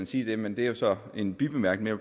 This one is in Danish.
sige det men det er jo så en bibemærkning